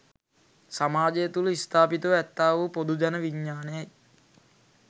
සමාජය තුල ස්ථාපිතව ඇත්තාවූ පොදුජන විඥානයයි.